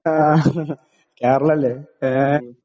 ആ കേരളല്ലെ ഏ.